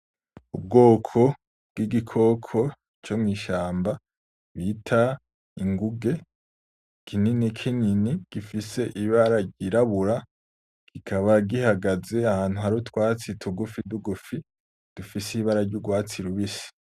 Ubwoko bw'igikoko comw'ishamba bita ingunge kininikinini gifise ibara ryirabura kikaba gihagaze ahantu hari utwatsi tugufitugufi dufise ibara ry'ugwatsi rubisi.